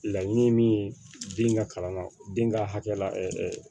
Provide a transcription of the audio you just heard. Laɲini ye min ye den ka kalan na den ka hakɛ la